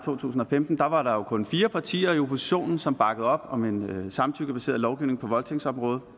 tusind og femten var der jo kun fire partier i oppositionen som bakkede op om en samtykkebaseret lovgivning på voldtægtsområdet